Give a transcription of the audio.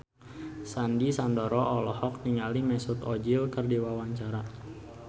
Sandy Sandoro olohok ningali Mesut Ozil keur diwawancara